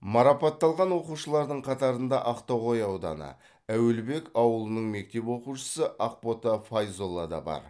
марапатталған оқушылардың қатарында ақтоғай ауданы әуелбек ауылының мектеп оқушысы ақбота файзолла да бар